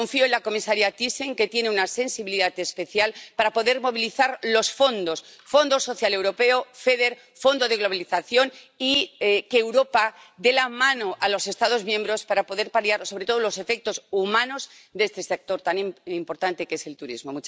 Confío en la comisaria Thyssen, que tiene una sensibilidad especial, para poder movilizar los fondos —Fondo Social Europeo, FEDER, Fondo Europeo de Adaptación a la Globalización— y en que Europa dé la mano a los Estados miembros para poder paliar sobre todo los efectos humanos en este sector tan importante que es el turismo.